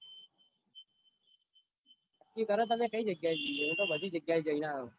નક્કી કરો તમે કઈ જગ્યાય જીયે હું તો બધી જગ્યાય જૈન આયો.